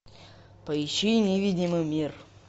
поищи невидимый мир